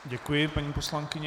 Děkuji paní poslankyni.